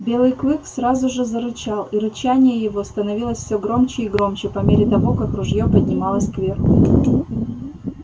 белый клык сразу же зарычал и рычание его становилось все громче и громче по мере того как ружье поднималось кверху